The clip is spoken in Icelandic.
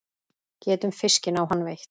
Getum fiskinn á hann veitt.